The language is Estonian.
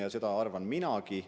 Ja seda arvan minagi.